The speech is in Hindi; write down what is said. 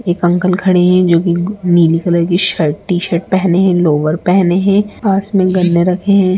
एक अंकल खड़े हैं जोकि नि नीली कलर की शर्ट टीशर्ट पहने हैं लोअर पहने हैं। पास में गन्ने रखे हैं।